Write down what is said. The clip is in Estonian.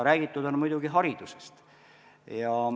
Räägitud on muidugi haridusest.